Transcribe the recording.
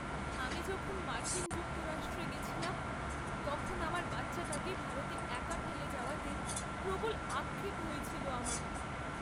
আমি যখন মার্কিন যুক্তরাষ্ট্রে গেছিলাম তখন আমার বাচ্চাটাকে ভারতে একা ফেলে যাওয়াতে প্রবল আক্ষেপ হয়েছিল আমার।